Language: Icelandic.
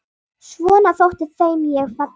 Svo þótti þeim ég falleg.